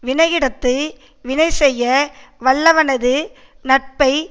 வினையிடத்து வினை செய்ய வல்லவனது நட்பை